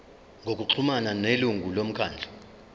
ngokuxhumana nelungu lomkhandlu